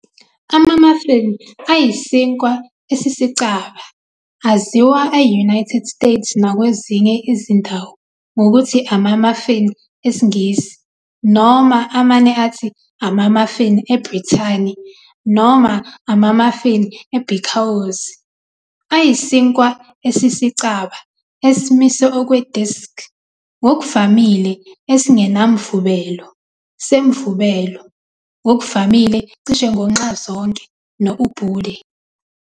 Ama-muffin ayisinkwa esisicaba, aziwa e-United States nakwezinye izindawo ngokuthi "ama-muffin esiNgisi ", noma amane athi 'ama-muffin' eBrithani, noma "ama-muffin ebhikawozi", ayisinkwa esisicaba esimise okwe-disk, ngokuvamile esingenamvubelo semvubelo, ngokuvamile cishe ngo-nxazonke no-ubude.